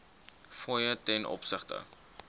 fooie ten opsigte